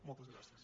moltes gràcies